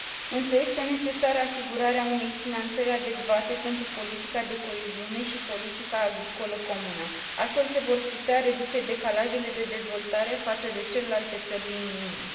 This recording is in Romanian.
Însă este necesară asigurarea unei finanțări adecvate pentru politica de coeziune și politica agricolă comună. Astfel, se vor putea reduce decalajele de dezvoltare față de celelalte țări din Uniune.